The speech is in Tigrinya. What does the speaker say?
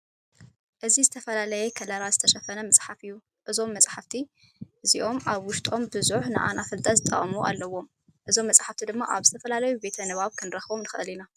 እዚ ዝተፈላለየ ከለራት ዝተሸፈነ መፅሓፍ እዩ። እዞም መፀሓፈቲ አዚኦም ኣብ ውሽጦም ቡዙሕ ንዓና ፍልጠት ዘቅስሙ ኣለዎም። እዞም መፅሓፍቲ ድማ ኣብ ዝተፈላለዩ ቤት ንባብ ክንረክቦም ንክእል ኢና።